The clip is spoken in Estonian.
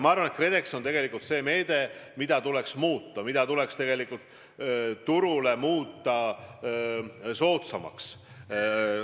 Ma arvan, et KredEx on tegelikult see meede, mida tuleks muuta, mis tuleks turule soodsamaks muuta.